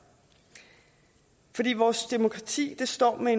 vores demokrati står med